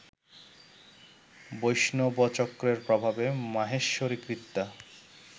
বৈষ্ণবচক্রের প্রভাবে মাহেশ্বরী কৃত্যা